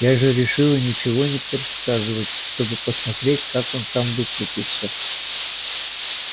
я же решила ничего не подсказывать чтобы посмотреть как он сам выкрутится